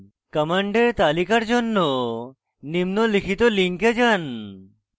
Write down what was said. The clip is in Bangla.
কমান্ডের তালিকার জন্য নিম্নলিখিত লিঙ্কে যান